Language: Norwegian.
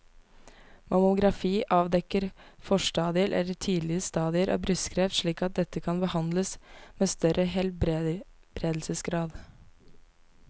Mammografi avdekker forstadier eller tidlige stadier av brystkreft slik at dette kan behandles med større helbredelsesgrad.